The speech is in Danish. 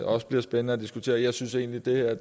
også bliver spændende at diskutere jeg synes egentlig at